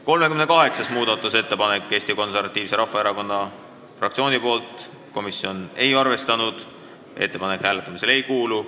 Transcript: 38. muudatusettepanek on Eesti Konservatiivse Rahvaerakonna fraktsioonilt, komisjon ei ole arvestanud, ettepanek hääletamisele ei kuulu.